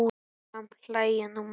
Samt hlæja nú menn.